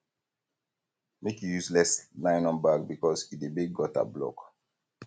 make you use less nylon bag because e dey make gutter block